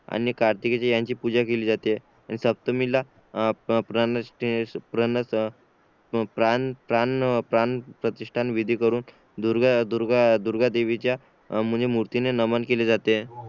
आणि कार्तिकी जी ह्यांची पूजा केली जाते आणि सप्तमीला हम्म प्राणप्रतिष्ठा विधी करून दुर्गा देवीच्या मूर्ती ला नमन केले जाते